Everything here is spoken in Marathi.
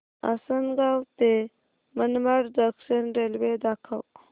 आसंनगाव ते मनमाड जंक्शन रेल्वे दाखव